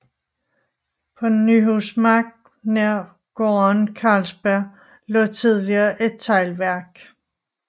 På Nyhusmark nær gården Carlsbjerg lå tidligere et teglværk